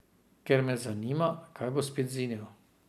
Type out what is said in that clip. Ker me zanima, kaj bo spet zinil.